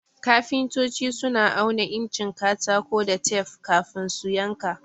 Kafintoci suna auna incin katako da tef kafin su yanka.